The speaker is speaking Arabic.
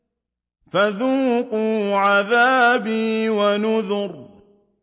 فَذُوقُوا عَذَابِي وَنُذُرِ